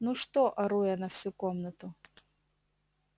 ну что ору я на всю комнату